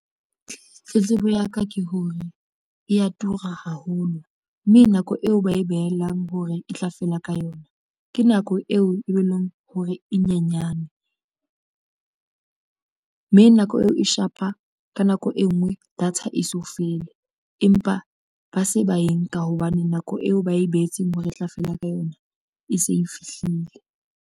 Tletlebo ya ka ke hore e ya tura haholo, mme nako eo ba e behelang hore e tla fela ka yona. Ke nako eo e be leng hore e nyenyane mme nako eo e shapa ka nako e nngwe data e so fele empa ba se ba enka hobane nako eo ba e behetseng hore e tla fela ka yona e se e fihlile.